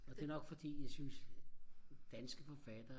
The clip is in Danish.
og det er nok fordi jeg synes danske forfattere